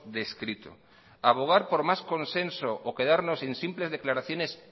descrito abogar por más consenso o quedarnos en simples declaraciones